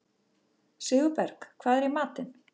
Sigurberg, hvað er í matinn?